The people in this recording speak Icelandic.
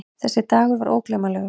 Þessi dagur var ógleymanlegur.